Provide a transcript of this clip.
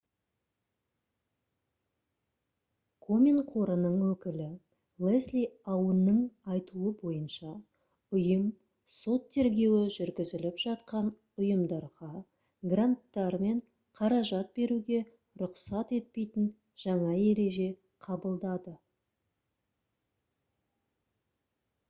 комен қорының өкілі лесли аунның айтуы бойынша ұйым сот тергеуі жүргізіліп жатқан ұйымдарға гранттар мен қаражат беруге рұқсат етпейтін жаңа ереже қабылдады